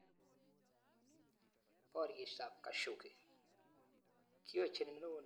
Porishet ap Kashoggi:kihojeni Neo nepo CIA eng senet Amerika